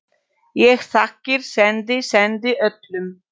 Ég þakkir sendi, sendi öllum.